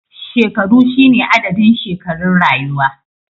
Shekaru shine adadin shekarun rayuwa